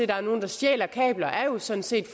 der er nogle der stjæler kabler er jo sådan set